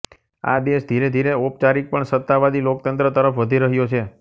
આ દેશ ધીરેધીરે ઔપચારિક પણ સત્તાવાદી લોકતંત્ર તરફ વધી રહ્યો છે